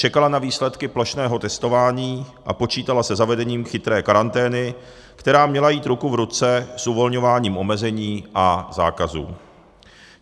Čekala na výsledky plošného testování a počítala se zavedením chytré karantény, která měla jít ruku v ruce s uvolňováním omezení a zákazů.